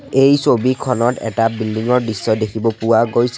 এই ছবিখনত এটা বিল্ডিং ৰ দৃশ্য দেখিব পোৱা গৈছে।